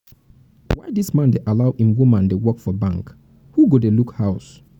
why dis man dey allow make im woman dey work for bank who go dey look house.